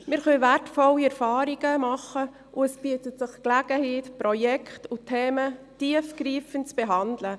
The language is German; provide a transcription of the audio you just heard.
Wir können wertvolle Erfahrungen sammeln, und es bietet sich die Gelegenheit, Projekte und Themen tiefgreifend zu behandeln.